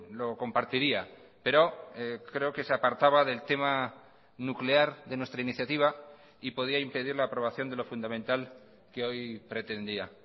lo compartiría pero creo que se apartaba del tema nuclear de nuestra iniciativa y podía impedir la aprobación de lo fundamental que hoy pretendía